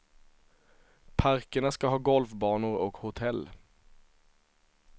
Parkerna ska ha golfbanor och hotell.